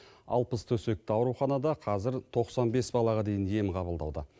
алпыс төсекті ауруханада қазір тоқсан бес балаға дейін ем қабылдауда